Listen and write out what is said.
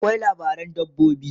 akwai labaran dabbobi